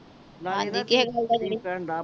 ਤੇਰੀ ਭੈਣ ਦਾ